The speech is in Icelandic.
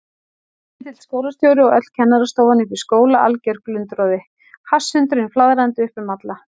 Ketill skólastjóri og öll kennarastofan uppi í skóla, alger glundroði, hasshundurinn flaðrandi upp um alla.